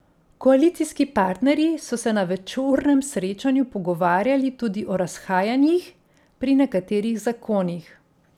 Koalicijski partnerji so se na večurnem srečanju pogovarjali tudi o razhajanjih pri nekaterih zakonih.